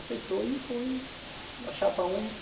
Aceitou e foi uma chapa única.